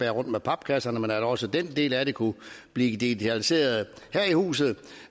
rundt med papkasserne men at også den del af det kunne blive digitaliseret her i huset